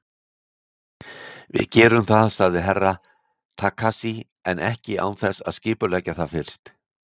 Við gerum það, sagði Herra Takashi, en ekki án þess að skipuleggja það fyrst.